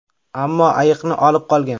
Ammo ayiqni olib qolgan.